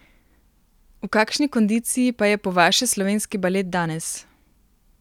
V kakšni kondiciji pa je po vaše slovenski balet danes?